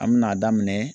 An mɛna daminɛ